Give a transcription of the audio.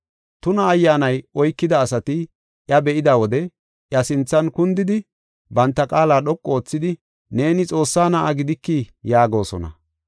Tuna ayyaanay oykida asati iya be7ida wode iya sinthan kundidi, banta qaala dhoqu oothidi, “Neeni Xoossaa Na7aa gidikii?” yaagosona.